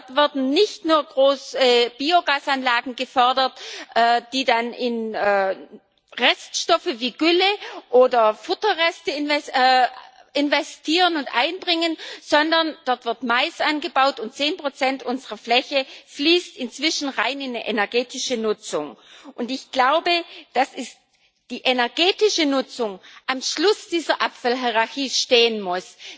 Dort wurden nicht nur große Biogasanlagen gefördert, die dann in Reststoffe wie Gülle oder Futterreste investieren und diese einbringen, sondern dort wird Mais angebaut, und 10 unserer Fläche fließt inzwischen in eine rein energetische Nutzung, und, ich glaube, dass die energetische Nutzung am Schluss dieser Abfallhierachie stehen muss.